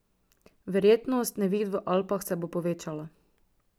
Verjetnost neviht v Alpah se bo povečala.